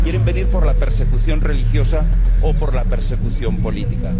quieren venir por la persecución religiosa o por la persecución política.